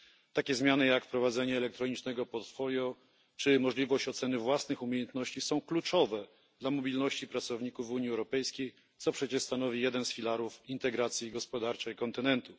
Takie zmiany jak wprowadzenie elektronicznego portfolio czy możliwość oceny własnych umiejętności są kluczowe dla mobilności pracowników w Unii Europejskiej, co przecież stanowi jeden z filarów integracji gospodarczej kontynentu.